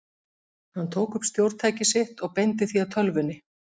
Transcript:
Hann tók upp stjórntækið sitt og beindi því að tölvunni.